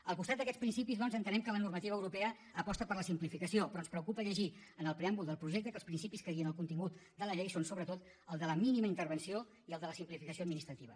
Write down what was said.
al costat d’aquests principis doncs entenem que la normativa europea aposta per la simplificació però ens preocupa llegir en el preàmbul del projecte que els principis que guien el contingut de la llei són sobretot el de la mínima intervenció i el de la simplificació administrativa